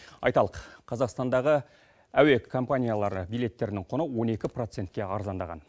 айталық қазақстандағы әуе компаниялары билеттерінің құны он екі процентке арзандаған